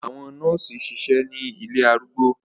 Àwọn nọọsi ṣiṣẹ ni ilé arúgbó